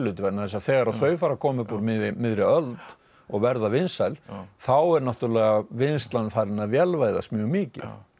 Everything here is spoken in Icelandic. vegna þess að þegar þau fara að koma upp úr miðri miðri öld og verða vinsæl þá er náttúrulega vinnslan farin að vélvæðast mjög mikið